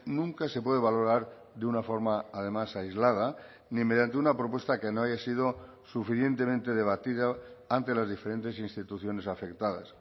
nunca se puede valorar de una forma además aislada ni mediante una propuesta que no haya sido suficientemente debatida ante las diferentes instituciones afectadas